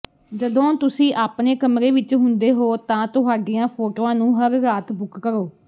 ਜਦੋਂ ਤੁਸੀਂ ਆਪਣੇ ਕਮਰੇ ਵਿਚ ਹੁੰਦੇ ਹੋ ਤਾਂ ਤੁਹਾਡੀਆਂ ਫੋਟੋਆਂ ਨੂੰ ਹਰ ਰਾਤ ਬੁੱਕ ਕਰੋ